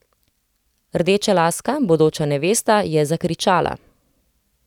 Rdečelaska, bodoča nevesta, je zakričala.